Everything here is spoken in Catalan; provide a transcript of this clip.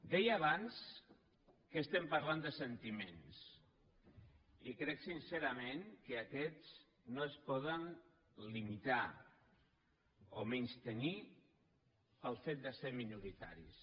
deia abans que estem parlant de sentiments i crec sincerament que aquests no es poden limitar o menystenir pel fet de ser minoritaris